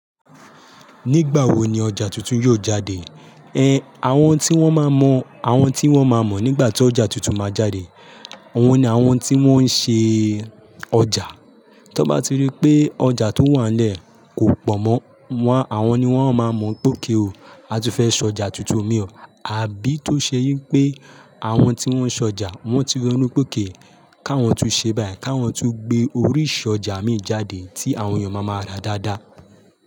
Nígbà wo ni ọjà tuntun yóò jáde? Ẹn, àwọn tí wọ́n má mọ, àwọn tí wọ́n má mọ̀ nígbà tí ọjà tuntun máa jáde, àwọn ni àwọn tí wọ́n ń ṣe ọjà. Tọ́ bá ti rí pé ọjà tó wà nílẹ̀ kò pọ̀ mọ́, wọ́n àwọn ni wọ́n má mọ̀ pé ok o, a ti fẹ́ sọ ọjà tuntun mì ó. Àbí tó ṣe yín pé àwọn tí wọ́n ń sọjà wọ́n ti ro nú pé ok, káwọn tu ṣe báyìí, káwọn tu gbé oríṣì ọjà mì jáde tí àwọn èèyàn máa máa rà dáadáa.